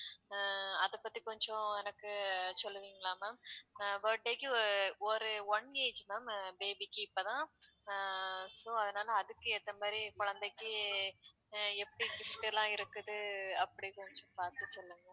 அஹ் அத பத்தி கொஞ்சம் எனக்கு சொல்லுவீங்களா அஹ் ma'am birthday க்கு அஹ் ஒரு one age ma'am baby க்கு இப்பதான் அஹ் so அதனால அதுக்கு ஏத்த மாதிரி குழந்தைக்கு எப்படி அஹ் gift லாம் இருக்குது அப்படின்னு கொஞ்சம் பாத்து சொல்லுங்க